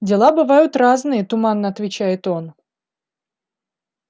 дела бывают разные туманно отвечает он